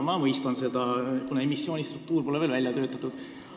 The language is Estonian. Ma mõistan seda, kuna emissiooni struktuur pole veel välja töötatud.